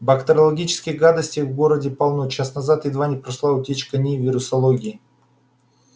бактериологической гадости в городе полно час назад едва не прошла утечка в нии вирусологии